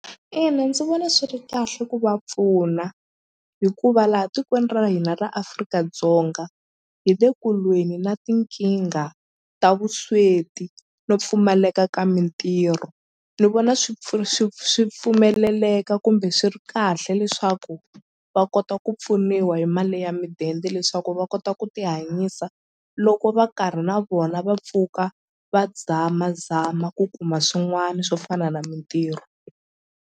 Ina ndzi vona swi ri kahle ku va pfuna hikuva laha tikweni ra hina ra Afrika-Dzonga hi le kulweni na tinkingha ta vusweti no pfumaleka ka mintirho ni vona swi swi swi pfumeleleka kumbe swi ri kahle leswaku va kota ku pfuniwa hi mali ya midende leswaku va kota ku ti hanyisa loko va karhi na vona va pfuka va zamazama ku kuma swin'wani swo fana na mintirho.